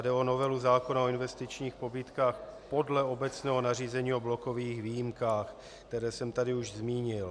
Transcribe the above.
Jde o novelu zákona o investičních pobídkách podle obecného nařízení o blokových výjimkách, které jsem tady už zmínil.